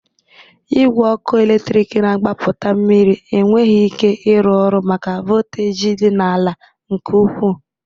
Igwe ọkụ eletriki na-agbapụta mmiri enweghi ike ịrụ ọrụ maka volteji dị ala nke ukwu